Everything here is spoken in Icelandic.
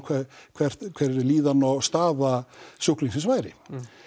hver líðan og staða sjúklingsins væri